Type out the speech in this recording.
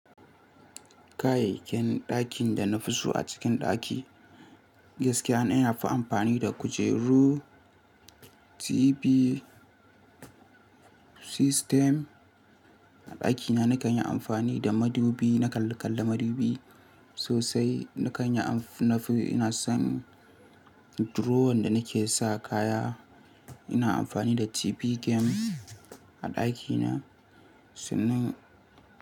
Kayayyakin ɗakin da na fi so a cikin ɗaki, gaskiya ni na fi amfani da kujeru, TV, system. A ɗakina na kan yi amfani da madubi, na kalle-kalle madubi sosai, na kan yi amf-- na fi ina son drawer da na ke sa kaya. Ina amfani da TV game a ɗakina. Sannan.